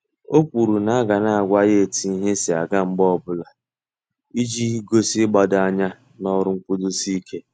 O kwuru na aga na àgwà ya etu ihe si aga mgbe ọbụla, iji gosi igbado anya n'ọrụ nkwudosi ike.